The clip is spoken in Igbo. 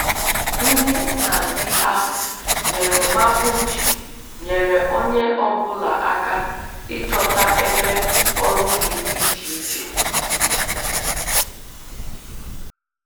Ndị nhazi ahụ nyere maapụ iji nyere onye ọ bụla aka ịchọta ebe ọrụ dị iche iche